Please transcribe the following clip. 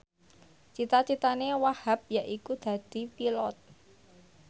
cita citane Wahhab yaiku dadi Pilot